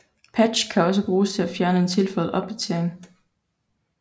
Patch kan også bruges til at fjerne en tilføjet opdatering